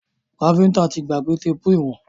Káfíntà tí gbàgbé téèpù ìwọ̀n.